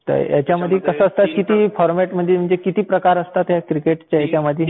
तर ह्यांच्यामध्ये किती फॉरमॅट म्हणजे किती प्रकार असतात ह्या क्रिकेटच्या ह्यांच्यामध्ये?